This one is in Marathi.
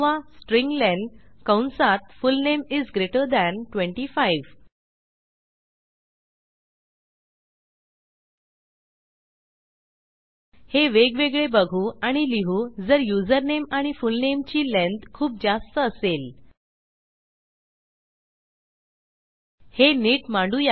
स्ट्र्लेन कंसात फुलनेम इस ग्रेटर थान 25 हे वेगवेगळे बघू आणि लिहू जर युजरनेम आणि फुलनेमची लेंग्थ खूप जास्त असेल हे नीट मांडू या